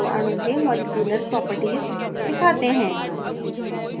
अब अणु के मॉलिक्यूलर properties आणविक गुण दिखाते हैं